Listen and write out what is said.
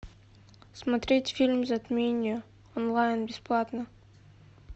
смотреть фильм затмение онлайн бесплатно